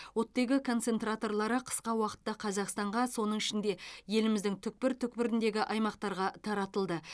оттегі концентраторлары қысқа уақытта қазақстанға соның ішінде еліміздің түкпір түкпіріндегі аймақтарға таратылды